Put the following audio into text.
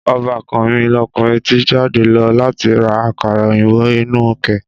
Ọbàkan mi lókunrin ti jáde lọ láti ra àkàrà òyìnbó inú ké.